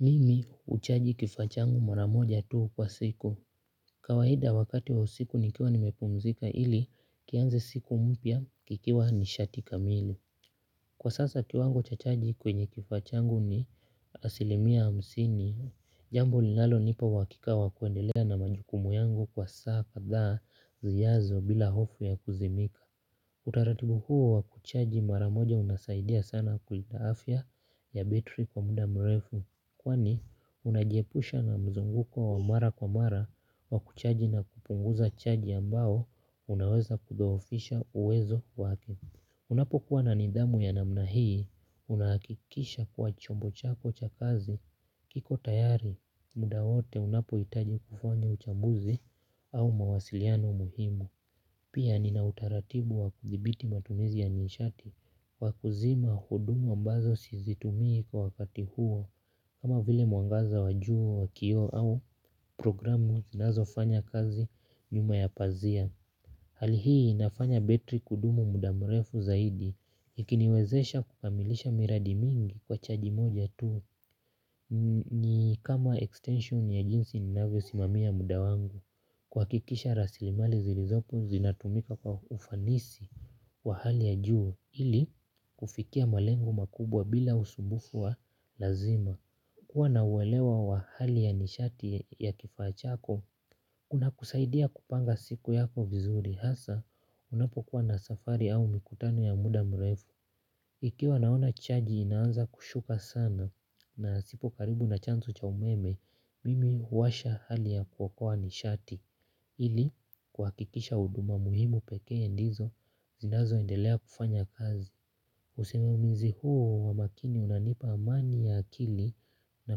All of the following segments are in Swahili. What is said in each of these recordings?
Mimi uchaji kifaa changu maramoja tuu kwa siku. Kawaida wakati wa siku nikiwa nimepumzika ili kianze siku mpya kikiwa nishati kamili. Kwa sasa kiwango cha chaji kwenye kifaa changu ni asilimia hamsini. Jambo linalo nipa wakika wakuendelea na majukumu yangu kwa saa kadhaa ziyazo bila hofu ya kuzimika. Utaratibu huo wa kuchaji maramoja unasaidia sana kulinda afia ya betri kwa muda mrefu. Kwani, unajiepusha na mzunguko wa mara kwa mara wa kuchaji na kupunguza chaji ambao, unaweza kudhoofisha uwezo wake. Unapo kuwa na nidhamu ya namna hii, unakikisha kuwa chombo chako cha kazi, kiko tayari, muda wote unapo itaji kufanya uchambuzi au mawasiliano muhimu. Pia nina utaratibu wa kuthibiti matumizi ya nishati wa kuzima hudumu ambazo sizitumii kwa wakati huo kama vile muangaza wajuu wa kioo au programu zinazo fanya kazi nyuma ya pazia. Hali hii inafanya betri kudumu mudamrefu zaidi ikiniwezesha kukamilisha miradi mingi kwa chaji moja tu. Ni kama extension ya jinsi ninavyo simamia muda wangu. Kwakikisha rasilimali zilizopo zinatumika kwa ufanisi wa hali ya juu ili kufikia malengo makubwa bila usumbufu wa lazima. Kuwa na uwelewa wa hali ya nishati ya kifaa chako. Kuna kusaidia kupanga siku yako vizuri hasaa unapokuwa na safari au mikutano ya muda mrefu. Ikiwa naona chaji inanza kushuka sana nasipo karibu na chanzo cha umeme mimi uwasha hali ya kuokoa nishati. Hili kwa kikisha uduma muhimu pekee ndizo zinazo endelea kufanya kazi usimamizi huo wa makini unanipa amani ya akili na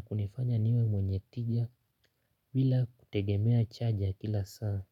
kunifanya niwe mwenye tigia vila kutegemea chaja kila saa.